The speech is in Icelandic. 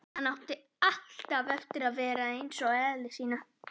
Hann átti alltaf eftir að verða eins í eðli sínu.